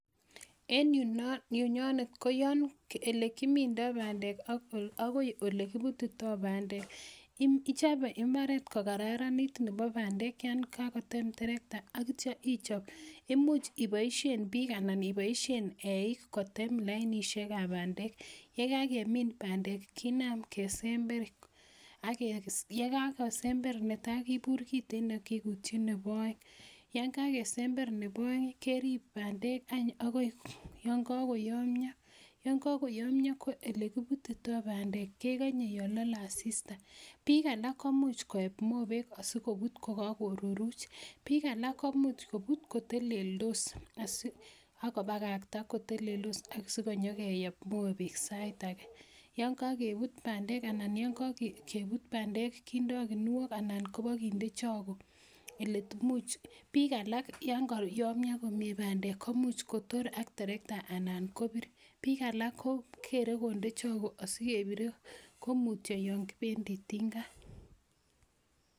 En yunonet koyon ole kimindoi bandek akoi ole kipututoi bandek, ichope imbaaret ko kararanit nebo bandek yon kakoton trakta akityo ichop imuch ipoishen biik anan eeik kotem lainishekab bandek, ye kakemin bandek kinam kesember, ye kakosember netai kipuur kitigin ak kipuutyi nebo aeng. Yon kakesember nebo aeng any keriip bandek akoi yon kakoyamia, yon kakoyomia ko ole kiputitoi bandek kekanye yon mi asista. Biik alak koep mopek asikoput kokakoruruch, biik alak komuch kopuut koteldos asi ako pakakta koteleldos ak sinyekeyep mopek sait ake. Yon kakepuut bandek anan yon kakeput bandek kindoi kuniok anan kobakinde choke ole much. Biik alak yon kayomio yon kayomia bandek komuch kotor ak trekata anan kopir. Biik alak kogeere konde choke asikepirie komutyo yon kibendi tinga.